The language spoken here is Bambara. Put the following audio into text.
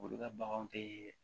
Olu ka bagan te